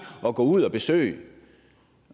at gå ud og besøge